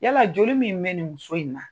Yala joli min bɛ nin muso in na